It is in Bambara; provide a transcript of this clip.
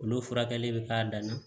Olu furakɛli bɛ k'a dan na